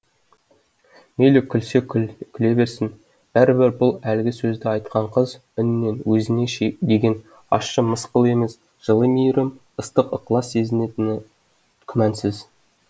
мейлі күлсе күле берсін бәрібір бұл әлгі сөзді айтқан қыз үнінен өзіне деген ащы мысқыл емес жылы мейірім ыстық ықылас сезінетіні күмәнсіз